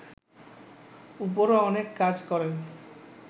উপরও অনেক কাজ করেন